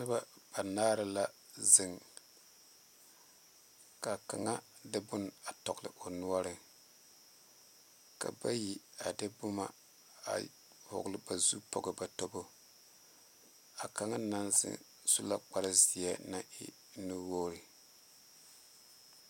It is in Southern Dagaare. Noba banaare la zeŋ kaa kaŋa de bon tɔgle o noɔre ka bayi a de boma a vɔgle ba zu poɔ ba tobo a kaŋa naŋ zeŋ su la kpare ziɛ naŋ e nu wogre.